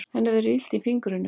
Henni verður illt í fingrunum.